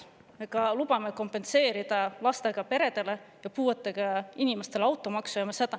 Me lubame Tallinnas lastega peredele ja puuetega inimestele automaksu kompenseerida.